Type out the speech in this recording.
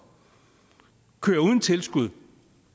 kører uden tilskud